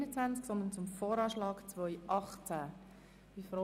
Bitte notieren Sie sich diese Korrektur.